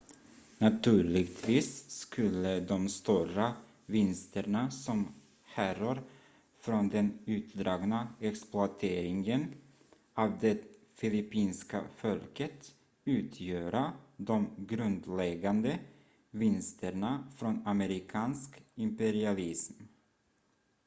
naturligtvis skulle de stora vinsterna som härrör från den utdragna exploateringen av det filippinska folket utgöra de grundläggande vinsterna från amerikansk imperialism